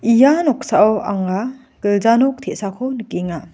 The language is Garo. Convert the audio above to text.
ia noksao anga gilja nok te·sako nikenga.